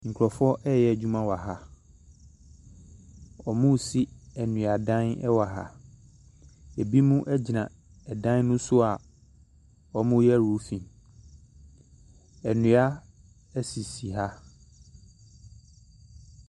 Nkurɔfoɔ reyɛ adwuma wɔ ha. Wɔresi nnuadan wɔ ha. Ebinom gyina dan no so a wɔreyɛ roofing. Nnua sisi ha.